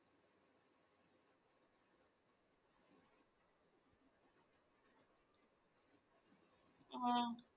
ആഹ്